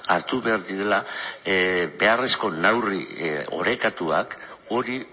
hartu behar direla beharrezko neurri orekatuak hori